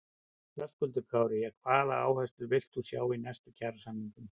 Höskuldur Kári: Já, hvaða áherslur villt þú sjá í næstu kjarasamningum?